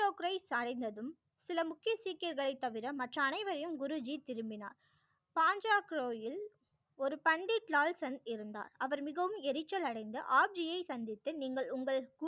சாய்ந்ததும் சில முக்கிய சீக்கியர்களை தவிர மற்ற அனைவரையும் குரு ஜி திரும்பினார் ஒரு பண்டிட் லால் சன் இருந்தார் அவர் மிகவும் எரிச்சல் அடைந்த ஆப் ஜி யை சந்தித்து நீங்கள் உங்கள்